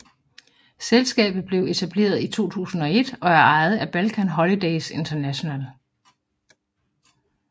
Selskabet blevet etableret i 2001 og er ejet af Balkan Holidays International